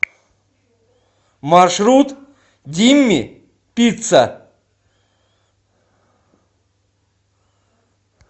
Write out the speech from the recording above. маршрут димми пицца